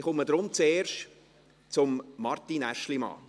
Daher komme ich zuerst zu Martin Aeschlimann.